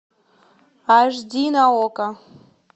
аш ди на окко